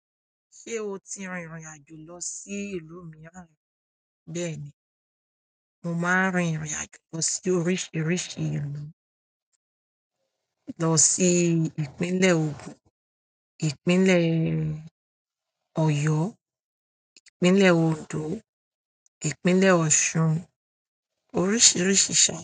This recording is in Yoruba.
Ṣé o ti rìnrìn àjò lọ sí ìlú mìíràn? Bẹ́ẹ̀ni, mo máa rìnrìn àjò lọ sí oríṣiríṣi ìlú, lọ sí ìpínlẹ̀ Ogun, ìpínlẹ̀ Ọ̀yọ́, ìpínlẹ̀ Ondo, ìpínlẹ̀ Ọ̀ṣun, oríṣiríṣi ṣa.